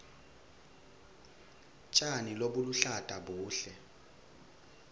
tjani lobuluhlata buhle